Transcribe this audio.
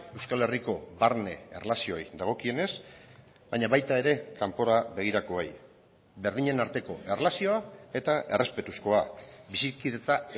euskal herriko barne erlazioei dagokienez baina baita ere kanpora begirakoei berdinen arteko erlazioa eta errespetuzkoa bizikidetza